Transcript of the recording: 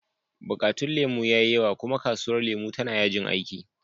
Bukatun lemu ya yi yawa, kuma kasuwar lemu tana yajin aiki.